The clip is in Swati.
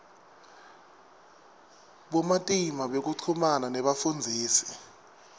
bumatima bekuchumana nebafundzisi